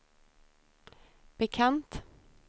bekant